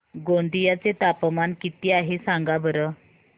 गोंदिया चे तापमान किती आहे सांगा बरं